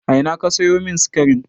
A ina ka sayo min sikarin?